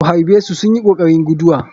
Ku harɓesu in sunyi kokarin guduwa.